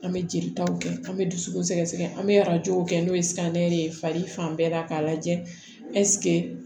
An bɛ jelitaw kɛ an bɛ dusukun sɛgɛn an bɛ arajow kɛ n'o ye ye fari fan bɛɛ la k'a lajɛ